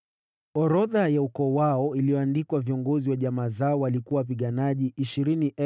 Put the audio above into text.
Orodha ya ukoo wao iliyoandikwa viongozi wa jamaa zao walikuwa wapiganaji 20,200.